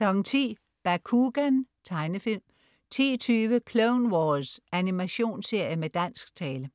10.00 Bakugan. Tegnefilm 10.20 Clone Wars. Animationsserie med dansk tale